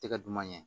Tɛgɛ duman ɲɛ